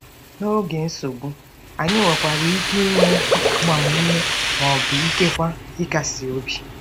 N'oge nsogbu, anyị nwekwara ike inye agbamume ma ọ bụ ikekwe ịkasi obi.